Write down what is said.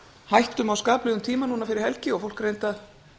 hættum á skaplegum tíma núna fyrir helgi og fólk reyndi að